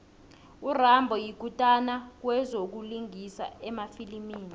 urambo yikutani kwezokulingisa emafilimini